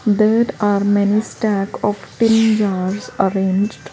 That are many stack of tin jars arranged.